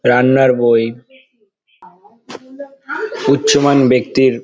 রান্নার বই উচ্চ মান ব্যক্তির--